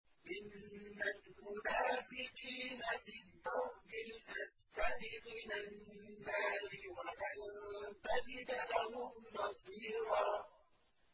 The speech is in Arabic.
إِنَّ الْمُنَافِقِينَ فِي الدَّرْكِ الْأَسْفَلِ مِنَ النَّارِ وَلَن تَجِدَ لَهُمْ نَصِيرًا